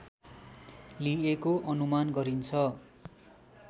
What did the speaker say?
लिएको अनुमान गरिन्छ